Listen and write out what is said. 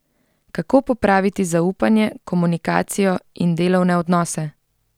Kako popraviti zaupanje, komunikacijo in delovne odnose?